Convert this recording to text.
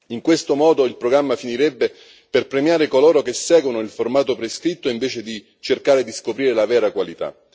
In questo modo, il programma finirebbe per premiare coloro che seguono il formato prescritto, invece di cercare di scoprire la vera qualità.